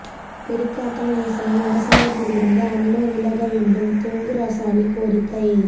Perikatan Nasional அரசாங்கத்திலிருந்து UMNO விலக வேண்டும் துங்கு ரசாலி கோரிக்கை